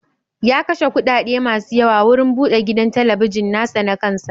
Ya kashe kuɗaɗe masu yawa wurin bude gidan talabijin na sa na kan sa.